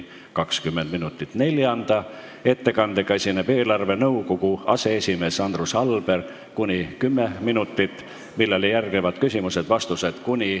Neljanda ettekandega esineb eelarvenõukogu aseesimees Andrus Alber , millele järgnevad küsimused ja vastused .